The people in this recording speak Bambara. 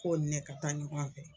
Ko ni ne ka taa ɲɔgɔn fɛ.